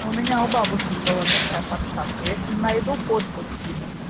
а у меня у бабушки была такая подставка если найду фотку скину